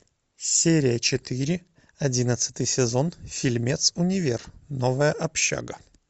серия четыре одиннадцатый сезон фильмец универ новая общага